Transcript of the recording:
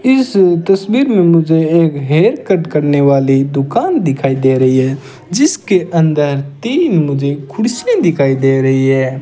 इस तस्वीर में मुझे एक हेयर कट करने वाली दुकान दिखाई दे रही है जिसके अंदर तीन मुझे कुर्सियां दिखाई दे रही है।